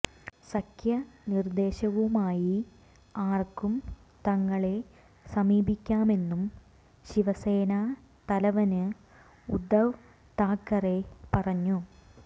സഖ്യ നിര്ദേശവുമായി ആര്ക്കും തങ്ങളെ സമീപിക്കാമെന്നും ശിവസേനാ തലവന് ഉദ്ധവ് താക്കറെ പറഞ്ഞു